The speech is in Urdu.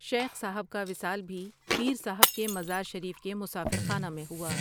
شیخ صاحب کا وصال بھی پیر صاحب کے مزار شریف کے مسافر خانہ میں ہوا۔